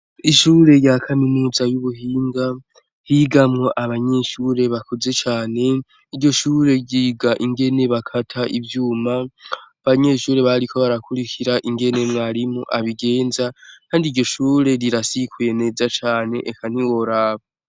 Ishure rya kaminuza y'ubuhinga higamwo abanyeshure bakuze cane, iryo shure ryiga ingene bakata ivyuma, abanyeshure bariko barakwirikira ingene mwarimu abigenza kandi iryo shure rirasikuye neza cane eka ntiworaba.